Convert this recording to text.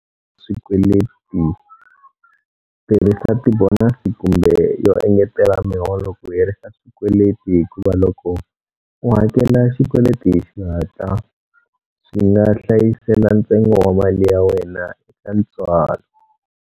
Swikweleti Tirhisa ti bonasi kumbe yo engetela miholo ku herisa xikweleti hikuva loko u hakela xikweleti hi xihatla, swi nga hlayisela ntsengo wa mali ya wena eka ntswalo.